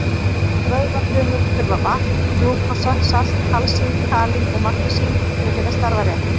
Vöðvafrumur þurfa vatn, glúkósa, salt, kalsín, kalín og magnesín til að geta starfað rétt.